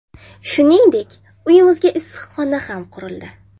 Shuningdek, uyimizga issiqxona ham qurildi.